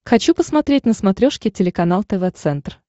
хочу посмотреть на смотрешке телеканал тв центр